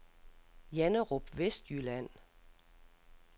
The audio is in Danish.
Janderup Vestjylland